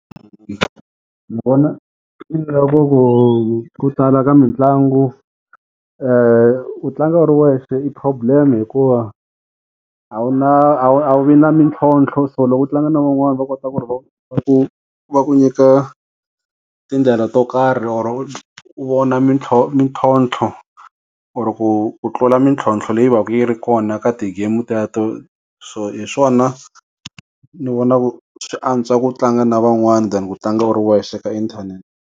Ni vona ku tsala ka mitlangu u tlanga u ri wexe i problem hikuva a wu na a wu vi na mintlhontlho so loko u tlanga na van'wana va kota ku va va ku va ku nyika tindlela to karhi or u vona mitlhontlho or ku tlula mintlhontlho leyi va ka yi ri kona ka ti-game u teto so hi swona ni vona swi antswa ku u tlanga na van'wana than ku tlanga u ri wexe eka inthanete.